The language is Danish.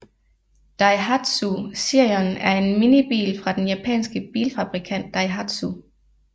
Daihatsu Sirion er en minibil fra den japanske bilfabrikant Daihatsu